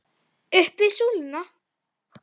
Upp við súluna!